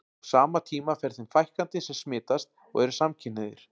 Á sama tíma fer þeim fækkandi sem smitast og eru samkynhneigðir.